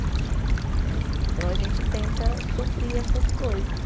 Né. Então a gente tenta suprir essas coisas.